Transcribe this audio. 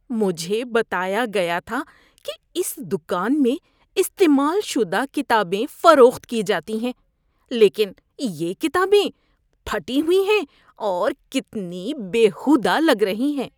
مجھے بتایا گیا تھا کہ اس دکان میں استعمال شدہ کتابیں فروخت کی جاتی ہیں لیکن یہ کتابیں پھٹی ہوئی ہیں اور کتنی بیہودہ لگ رہی ہیں۔